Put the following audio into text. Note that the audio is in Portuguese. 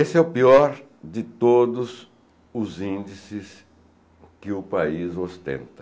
Esse é o pior de todos os índices que o país ostenta.